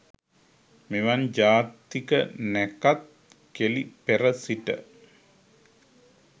මෙවන් ජාතික නැකත් කෙළි පෙර සිට